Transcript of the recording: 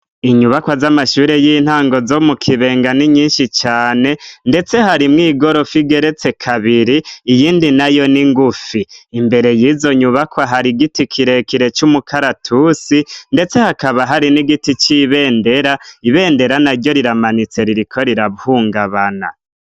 Inyubakwa z'amashure y'intango zo mukibenga ni nyinshi cane ndetse harimwo igorofo igeretse kabiri iyindi nayo n'ingufi imbere y'izo nyubakwa hari giti kirekire c'umukaratusi ndetse hakaba hari n'igiti c'ibendera, ibendera na ryo riramanitse ririko rirahungabana.